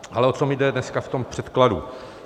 Ale o co mi jde dneska v tom předkladu.